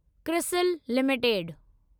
CRISIL limited